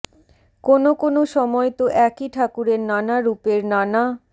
কোনও কোনও সময় তো একই ঠাকুরের নানা রুপের নানা